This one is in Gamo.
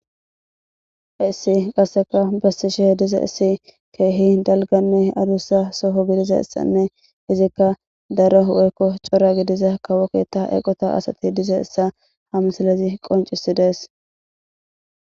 Issi qasseka bessishehe diza issi keehi dalganne adussa soho gidiza issanne izikka daro woykko cora gidiza kawokketa eqota asati diza essa hamsalezi qoncisi dees.